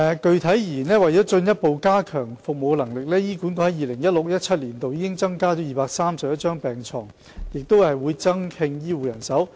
具體而言，為進一步加強服務能力，醫管局在 2016-2017 年度已增加231張病床及正增聘醫護人手。